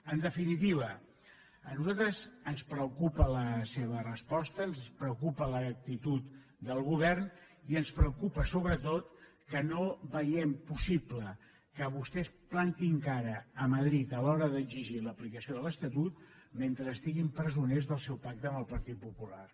en definitiva a nosaltres ens preocupa la seva resposta ens preocupa l’actitud del govern i ens preocupa sobretot que no veiem possible que vostès plantin cara a madrid a l’hora d’exigir l’aplicació de l’estatut mentre estiguin presoners del seu pacte amb el partit popular